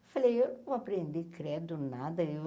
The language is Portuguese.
Eu falei, eu não vou aprender credo, nada. eu